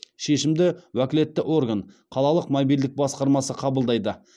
шешімді уәкілетті орган қалалық мобильдік басқармасы қабылдайды